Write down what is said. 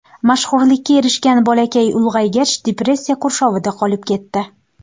Mashhurlikka erishgan bolakay ulg‘aygach, depressiya qurshovida qolib ketdi.